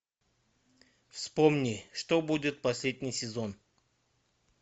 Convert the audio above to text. вспомни что будет последний сезон